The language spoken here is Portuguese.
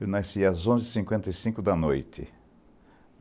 Eu nasci às onze e cinquenta e cinco da noite.